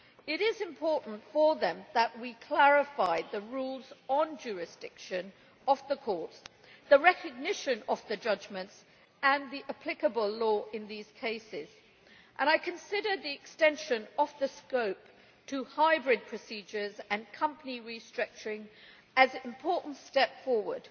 It is important for them that we clarified the rules on jurisdiction of the courts, the recognition of judgments and the applicable law in these cases, and I consider the extension of the scope of the rules to hybrid procedures and company restructuring as an important step forward.